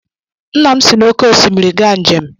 Nna m si n’oké osimiri gaa njem.